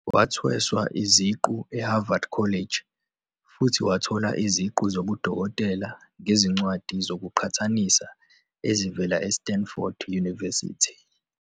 Wathweswa iziqu eHarvard College, futhi wathola iziqu zobudokotela ngezincwadi zokuqhathanisa ezivela eStanford University.